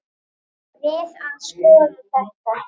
Við að skoða þetta.